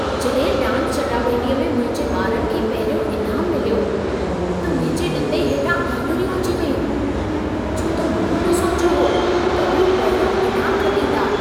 जॾहिं डांस चटाभेटीअ में मुंहिंजे ॿारनि खे पहिरियों इनाम मिलियो, त मुंहिंजे ॾंदे हेठां आङिरियूं अची वयूं। छो त मूं न सोचियो हो त हू पहिरियों इनाम खटींदा।